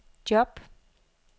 job